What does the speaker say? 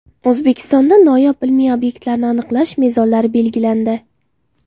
O‘zbekistonda noyob ilmiy obyektlarni aniqlash mezonlari belgilandi.